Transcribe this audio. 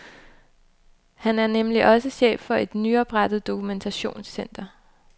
Han er nemlig også chef for et nyoprettet dokumentationscenter.